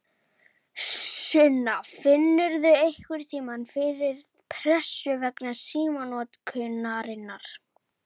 Sunna: Finnurðu einhverntímann fyrir pressu vegna símanotkunarinnar?